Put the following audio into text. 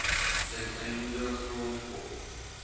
ten einde grondvog